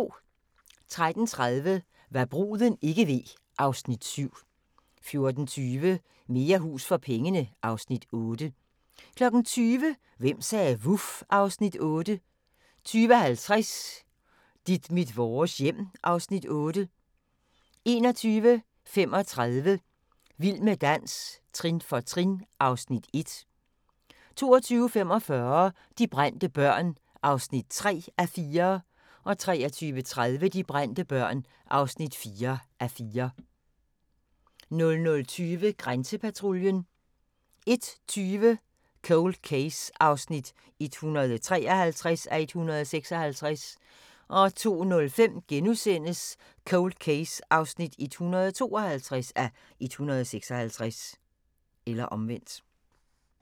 13:30: Hva' bruden ikke ved (Afs. 7) 14:20: Mere hus for pengene (Afs. 8) 20:00: Hvem sagde vuf? (Afs. 8) 20:50: Dit mit vores hjem (Afs. 8) 21:35: Vild med dans – trin for trin (Afs. 1) 22:45: De brændte børn (3:4) 23:30: De brændte børn (4:4) 00:20: Grænsepatruljen 01:20: Cold Case (153:156) 02:05: Cold Case (152:156)*